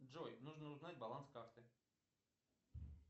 джой нужно узнать баланс карты